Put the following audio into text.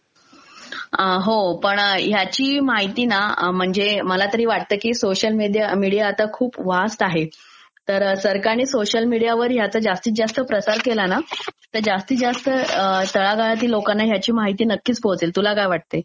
हो पण ह्याची माहिती ना म्ङमजे मला तरी वाटंत की सोोशल मिडीया आता खूप वास्ट आहे, तर सरकारने सोशल मिडीयावर ह्याचा जास्तीत जास्त प्रसार केला ना तर जास्तीत जास्त तळागाळातील लोकांना ह्याची माहिती पोचेल, तुला काय वाटतंय